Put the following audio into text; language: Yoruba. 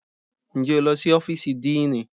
Ǹjẹ́ o lọ sí ọ́fíìsì díìnì?